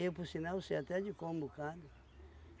por sinal, sei até de cor um bocado